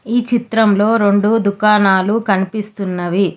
ఈ చిత్రం లో రెండు దుకునాలు కనిపిస్తున్నాయి.